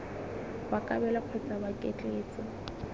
wa kabelo kgotsa wa ketleetso